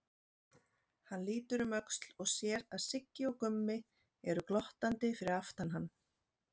Hann lítur um öxl og sér að Siggi og Gummi eru glottandi fyrir aftan hann.